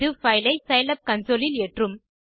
இது பைல் ஐscilab கன்சோல் இல் ஏற்றும்